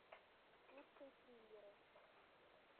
лучшие триллеры